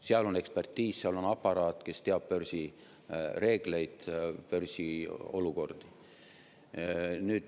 Seal on ekspertiis, seal on aparaat, kes teab börsireegleid ja börsiolukorda.